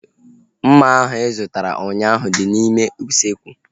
Mma ahu ị zụtara ụnyaahụ dị n'ime usekwu